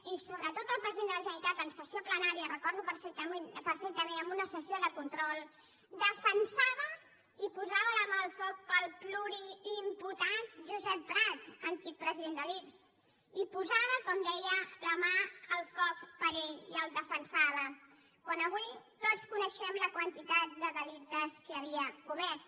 i sobretot el president de la generalitat en sessió plenària ho recordo perfectament en una sessió de control defensava i posava la mà al foc pel pluriimputat josep prat antic president de l’ics i posava com deia la mà al foc per ell i el defensava quan avui tots coneixem la quantitat de delictes que havia comès